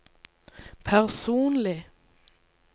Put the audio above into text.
personlig